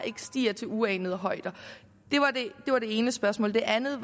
stiger til uanede højder det var det ene spørgsmål det andet